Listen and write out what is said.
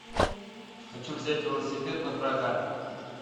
хочу взять велосипед напрокат